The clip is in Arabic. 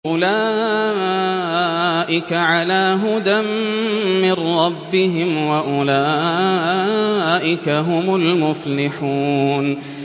أُولَٰئِكَ عَلَىٰ هُدًى مِّن رَّبِّهِمْ ۖ وَأُولَٰئِكَ هُمُ الْمُفْلِحُونَ